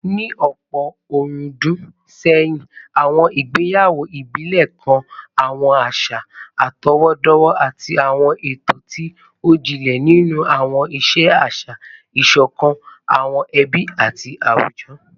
Ní ọ̀pọ̀ ọ̀rúndún sẹ́yìn, àwọn ìgbéyàwó ìbílẹ̀ kan àwọn àṣà àtọwọ́dọ́wọ́ àti àwọn ààtò tí ó jinlẹ̀ nínú àwọn ìṣe àṣà, ìṣọ̀kan àwọn ẹbí àti àwùjọ